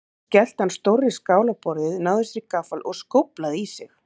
Svo skellti hann stórri skál á borðið, náði sér í gaffal og skóflaði í sig.